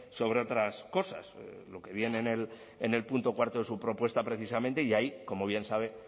sobre otras cosas lo que viene en el punto cuarto de su propuesta precisamente y ahí como bien sabe